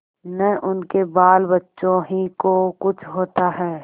न उनके बालबच्चों ही को कुछ होता है